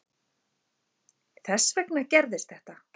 Þess vegna gerðist þetta.